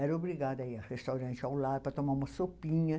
Era obrigada a ir ao restaurante ao lado para tomar uma sopinha.